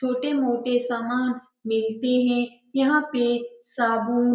छोटे-मोटे सामान बेचते हैं यहाँ पे बाबू --